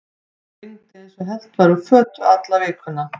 Það rigndi eins og hellt væri úr fötu alla vikuna.